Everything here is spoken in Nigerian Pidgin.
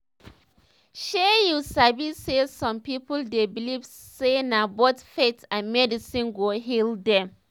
shey u sabi saysome people dey believe say na both faith and medicine go heal dem